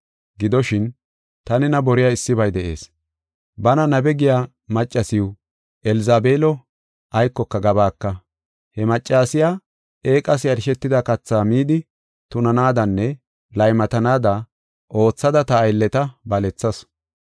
Gidoshin, ta nena boriya issibay de7ees; bana nabe giya maccasiw, Elzabeelo, aykoka gabaaka. He maccasiya eeqas yarshetida kathaa midi tunanaadanne laymatanaada oothada ta aylleta balethasu.